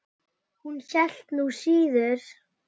Hún hélt nú síður.